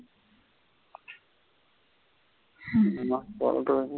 ஆமா .